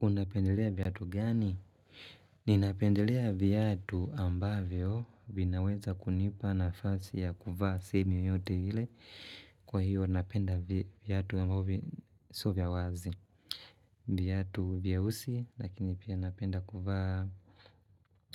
Unapendelea viatu gani? Ninapendelea viatu ambavyo vinaweza kunipa nafasi ya kuvaa sehemu yoyote ile, kwa hiyo napenda viatu ambavyo sio vya wazi. Viatu vyeusi lakini pia napenda kuvaa